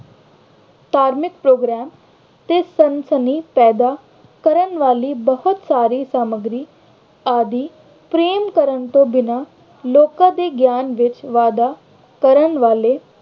ਧਾਰਮਿਕ program ਤੇ ਸਨਸਨੀ ਪੈਦਾ ਕਰਨ ਵਾਲੀ ਬਹੁਤ ਸਾਰੀ ਸਾਮੱਗਰੀ ਆਦਿ ਪ੍ਰੇਮ ਕਰਨ ਤੋਂ ਬਿਨ੍ਹਾਂ ਲੋਕਾਂ ਦੇ ਗਿਆਨ ਵਿੱਚ ਵਾਧਾ ਕਰਨ ਵਾਲੇ